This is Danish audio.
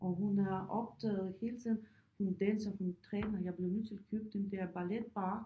Og hun er optaget hele tiden hun danser hun træner jeg blev nødt til at købe den der balletbarre